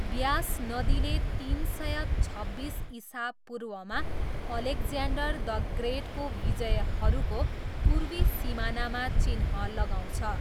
व्यास नदीले तिन सय छब्बिस इसापूर्वमा अलेक्ज्यान्डर द ग्रेटको विजयहरूको पूर्वी सिमानामा चिह्न लगाउँछ।